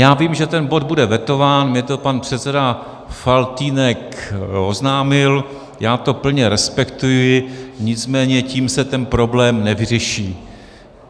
Já vím, že ten bod bude vetován, mně to pan předseda Faltýnek oznámil, já to plně respektuji, nicméně tím se ten problém nevyřeší.